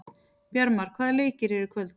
Bjarmar, hvaða leikir eru í kvöld?